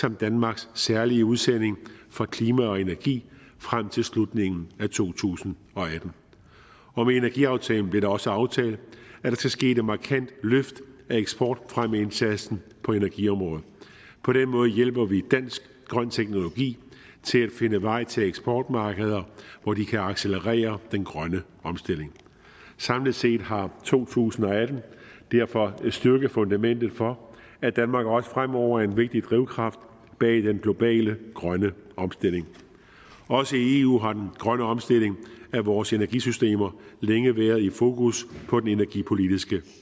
som danmarks særlige udsending for klima og energi frem til slutningen af to tusind og atten og med energiaftalen blev det også aftalt at der skal ske et markant løft af eksportfremmeindsatsen på energiområdet på den måde hjælper vi dansk grøn teknologi til at finde vej til eksportmarkeder hvor de kan accelerere den grønne omstilling samlet set har to tusind og atten derfor styrket fundament for at danmark også fremover er en vigtig drivkraft bag den globale grønne omstilling også i eu har den grønne omstilling af vores energisystem længe været et fokus på den energipolitiske